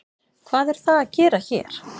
Hvað er það að gera hér?